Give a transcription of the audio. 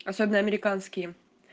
особенно американские